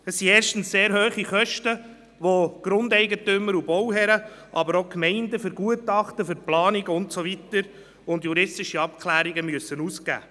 Erstens entstehen sehr hohe Kosten, die die Grundeigentümer und die Bauherren, aber auch die Gemeinden für Gutachten, Planungen und juristische Abklärungen ausgeben müssen.